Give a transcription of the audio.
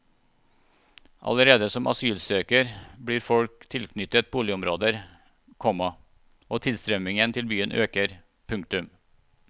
Allerede som asylsøker blir folk tilknyttet boligområder, komma og tilstrømningen til byene øker. punktum